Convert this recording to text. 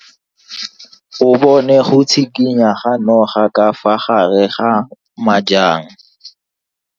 O bone go tshikinya ga noga ka fa gare ga majang.